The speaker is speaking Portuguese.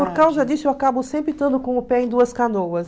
Por causa disso, eu acabo sempre estando com o pé em duas canoas.